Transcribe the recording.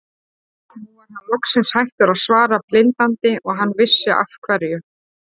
Nú var hann loksins hættur að svara blindandi og hann vissi af hverju.